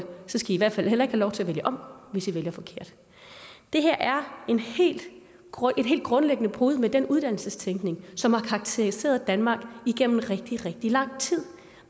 i hvert fald heller ikke have lov til at vælge om hvis i vælger forkert det her er et helt grundlæggende brud med den uddannelsestænkning som har karakteriseret danmark igennem rigtig rigtig lang tid